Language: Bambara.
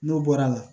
N'o bɔra a la